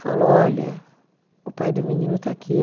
Falou, olha, o pai do menino está aqui.